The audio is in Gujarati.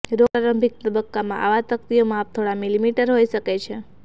રોગ પ્રારંભિક તબક્કામાં આવા તકતીઓ માપ થોડા મિલિમીટર હોઈ શકે છે